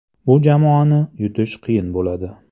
Bu jamoani yutish qiyin bo‘ladi.